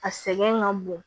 A sɛgɛn ka bon